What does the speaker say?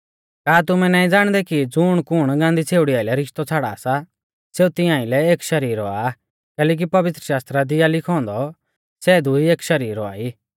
का तुमै नाईं ज़ाणदै कि ज़ुणकुण गांदी छ़ेउड़ी आइलै रिश्तौ छ़ाड़ा सा सेऊ तिंआ आइलै एक शरीर औआ कैलैकि पवित्रशास्त्रा दी आ लिखौ औन्दौ सै दुई एक शरीर औआ ई